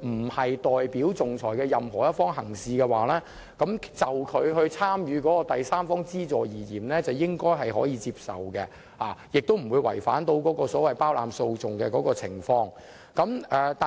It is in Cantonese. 並非代表仲裁的任何一方行事的話，其參與第三方資助應該是可以接受的，亦不會違反所謂包攬訴訟的法則。